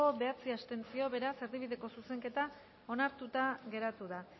bederatzi abstentzio beraz erdibideko zuzenketa onartuta geratu da